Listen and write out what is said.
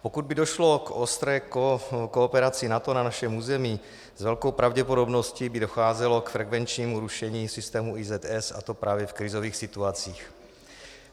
Pokud by došlo k ostré kooperaci NATO na našem území, s velkou pravděpodobností by docházelo k frekvenčnímu rušení systému IZS, a to právě v krizových situacích.